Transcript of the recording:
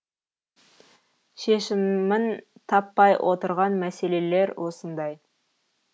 шешімін таппай отырған мәселелер осындай